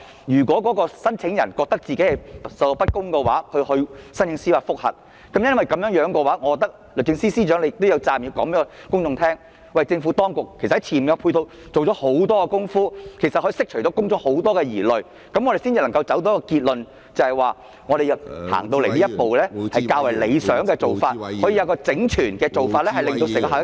如果聲請人覺得受到不公平對待而提出司法覆核，律政司司長也有責任告訴公眾，政府當局在前期已經做了很多工作，以釋除公眾疑慮，這樣我們才能夠得出一個結論，認為作出有關修訂是較為理想的做法，可提高整體效益......